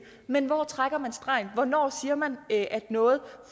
men hvor trækker man stregen og hvornår siger man at noget